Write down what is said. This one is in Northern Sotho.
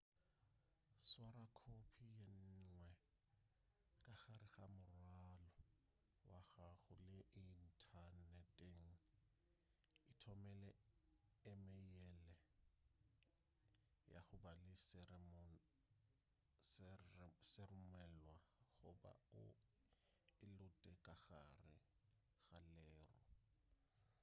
swara khophi ye nngwe ka gare ga morwalo wa gago le inthaneteng ithomele emeile ya go ba le seromelwa goba o e lote ka gare ga leru"